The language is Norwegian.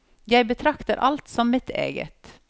Jeg betrakter alt som mitt eget.